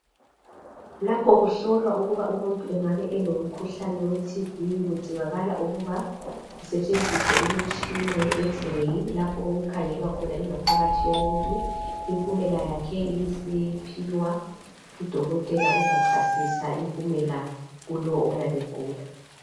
Lapho kuhlolwa ukuba umuntu engabe elomkhuhlane weTB kudingakala ukuba kusetshenziswe imitshina ye X- ray lapho okukhangelwa khona ingaphakathi yomuntu impumela yakhe ibisiphiwa udokotela ozachasisa impumela kolowo oyabe egula.